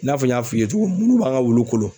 I n'a fɔ n y'a f'i ye cogo min munnu b'an Ka wulu kolo